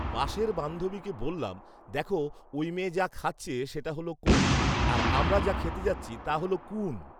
পাশের বান্ধবীকে বললাম , "দেখো ঐ মেয়ে যা খাচ্ছে সেটা হলো কোণ আর আমরা যা খেতে যাচ্ছি তা হলো কুঊউণ"